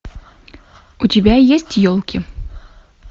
у тебя есть елки